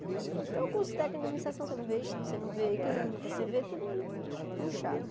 Então o curso técnico de administração você não vê você não vê química, você vê tudo muito puxado.